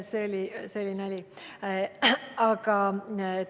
See oli nali!